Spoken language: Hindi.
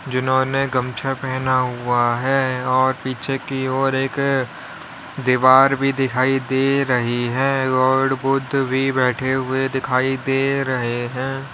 जिन्होंने गमछा पहना हुआ है और पीछे की ओर एक दीवार भी दिखाई दे रही है गॉड बुद्ध भी बैठे हुए दिखाई दे रहे हैं।